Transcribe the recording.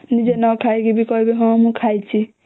ନିଜେ ନ ଖାଇକି ବି କହିବେ ହଁ ମୁ ଖାଇଛି